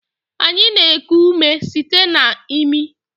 Anyị na-eku ume site na imi